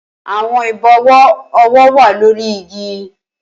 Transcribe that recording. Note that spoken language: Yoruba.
Awọn ibọwọ ọwọ wa lori igi